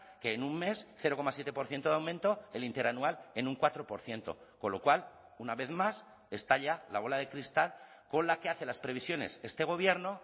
que en un mes cero coma siete por ciento de aumento el interanual en un cuatro por ciento con lo cual una vez más estalla la bola de cristal con la que hace las previsiones este gobierno